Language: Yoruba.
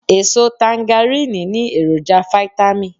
Eso tangaríìnì ní èròjà fitamì